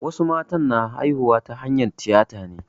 Wasu mata na haihuwa ta hanyar tiyata ne.